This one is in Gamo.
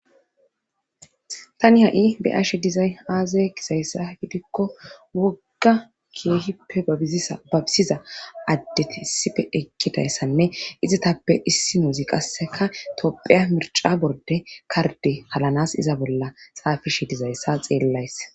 Tani ha'i beashe dizay haazay gisayssa gidikko wogga keehippe babisiza addeti issife ekkidayssanne izitappe issi nozi qasseka tophiya mirca borde karde halanas iza bolla saafishe dizayssa xeellays